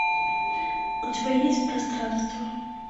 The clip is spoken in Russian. у тебя есть пространство